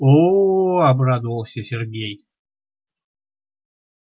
оо обрадовался сергей